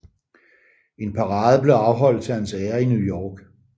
En parade blev afholdt til hans ære i New York